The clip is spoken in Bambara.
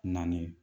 Naani